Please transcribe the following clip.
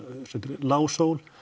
lág sól